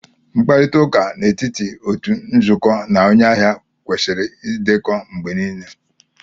Mkparịta ụka n'etiti otu nzukọ na onye ahịa kwesịrị ịdekọ mgbe niile